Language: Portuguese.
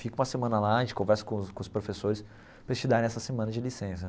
Fica uma semana lá, a gente conversa com os com os professores para eles te darem essa semana de licença.